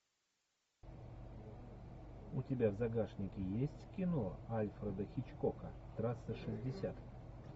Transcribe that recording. у тебя в загашнике есть кино альфреда хичкока трасса шестьдесят